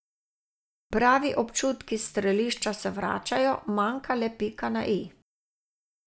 Pravi občutki s strelišča se vračajo, manjka le pika na i.